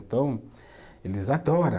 Então, eles adora